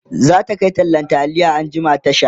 zata Kai tallan taliya Tasha anjima